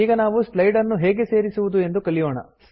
ಈಗ ನಾವು ಸ್ಲೈಡ್ ನ್ನು ಹೇಗೆ ಸೇರಿಸುವುದು ಎಂದು ಕಲಿಯೋಣ